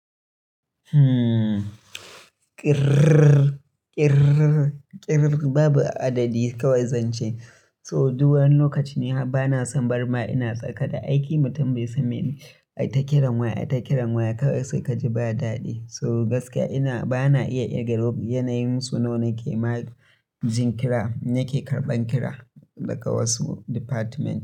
Uhmm, kirrr, kirrr, kirrr babu adadi kawai zance. So duk wani lokaci ni har bana son barma ina tsaka da aiki, mutum bai san menene. Ai ta kiran waya, ai ta kiran waya kawai sai ka ji ba daɗi. So gaskiya ina bana iya kirga lo yanayin su nawa ke ma jin kira nake karɓan kira daga wasu department.